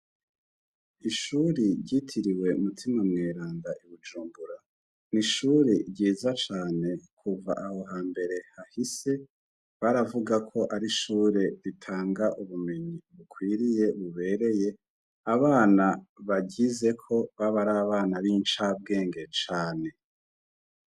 Ishure ryitiriwe "mutima mweranda" i Bujumbura ni ishure ryiza cane. Kuva aho hambere hahise, baravuga ko ari ishure ritanga ubumenyi bukwiriye bubereye, abana baryizeko baba ar'abana b'incabwenge cane.